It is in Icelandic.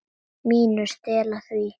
MÍNU. Stela því?